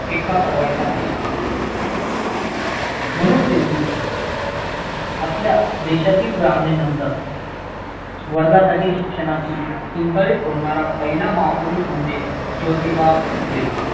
पाडवायचा नाही म्हणून त्यांनी आपल्या देशातील ब्राह्मणानं नंतर वर्गासाठी शिक्षणाची किंकाळी फोडणारा पहिला महापुरुष म्हणजे जोतिबा फुले